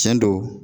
Tiɲɛ don